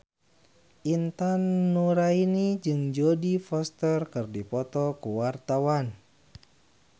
Intan Nuraini jeung Jodie Foster keur dipoto ku wartawan